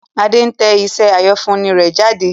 Adé ń tẹ iṣẹ́ àyànfúnni rẹ̀ jáde